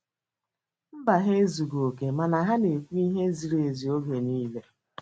Mba, ha ezughị oke mana ha na-ekwu ihe ziri ezi oge niile.